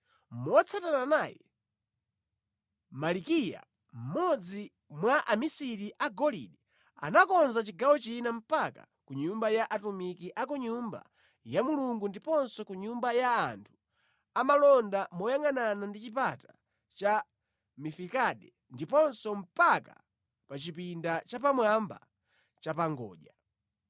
Motsatana naye, Malikiya mmodzi mwa amisiri a golide anakonza chigawo china mpaka ku nyumba ya atumiki a ku Nyumba ya Mulungu ndiponso ku nyumba ya anthu amalonda moyangʼanana ndi chipata cha Mifikade ndiponso mpaka pa chipinda chapamwamba chapangodya.